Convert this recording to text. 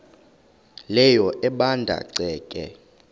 leyo ebanda ceke